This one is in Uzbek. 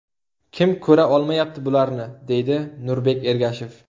Kim ko‘ra olmayapti bularni?”, deydi Nurbek Ergashev.